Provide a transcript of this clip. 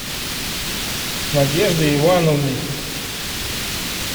надеждой ивановной